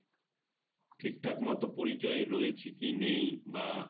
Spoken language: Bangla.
ঠিক ঠাক মত পরিচয় রয়েছে কি নেই বা